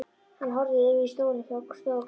Hann horfði yfir í stólinn hjá stofuglugganum.